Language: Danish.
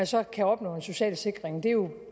så kan opnå en social sikring det er jo